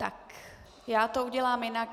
Tak já to udělám jinak.